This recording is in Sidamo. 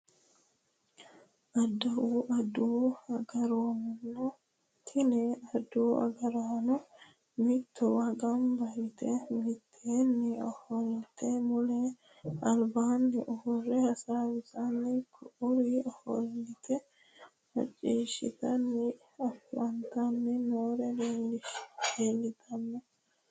Adawu agaraano tini adawu agaraano mittowa gamba yite mitteenni ofolte mittu albaanni uurre hasaawisanna ku'uri ofolte macciihshitanni afantanni noori leeltanno